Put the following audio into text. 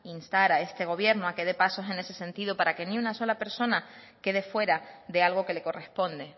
instar a este gobierno a que de paso en ese sentido para que ni una sola persona quede fuera de algo que le corresponde